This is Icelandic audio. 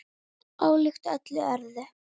Ólíkt öllu öðru.